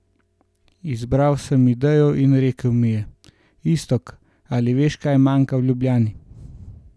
Izbral sem idejo in rekel mi je: "Iztok, ali veš, kaj manjka v Ljubljani?